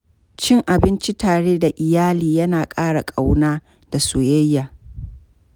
Cin abinci tare da iyali, yana ƙara ƙauna da soyayya.